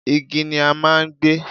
igi ni a máà ń gbé